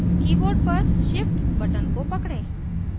keyboard पर shift button को पकड़ें